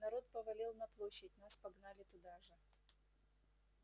народ повалил на площадь нас погнали туда же